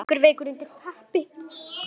Liggur veikur undir teppi.